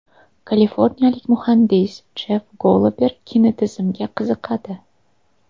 Kaliforniyalik muhandis Jeff Gollober kinetizmga qiziqadi.